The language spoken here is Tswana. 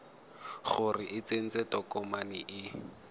gore o tsentse tokomane e